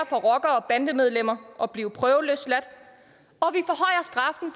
for rockere og bandemedlemmer at blive prøveløsladt